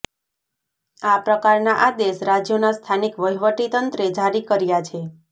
આ પ્રકારના આદેશ રાજ્યોના સ્થાનિક વહીવટીતંત્રે જારી કર્યા છે